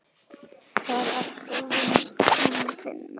Hvar ertu að vinna?